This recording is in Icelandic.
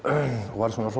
varð